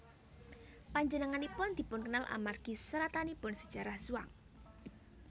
Panjenenganipun dipunkenal amargi seratanipun Sajarah Zhuang